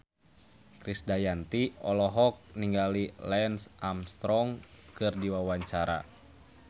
Krisdayanti olohok ningali Lance Armstrong keur diwawancara